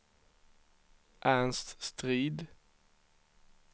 Ernst Strid